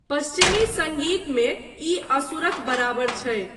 पश्चिमी सङ्गीत मे, ई असुरक बराबर छै।